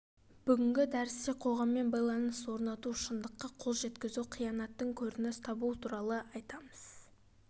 бүгінгі дәрісте қоғаммен байланыс орнату шындыққа қол жеткізу қиянаттың көрініс табуы туралы айтамыз